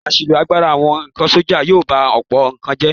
Àṣìlò agbára àwọn sọ́jà yóò ba ọ̀pọ̀ nǹkan jẹ́.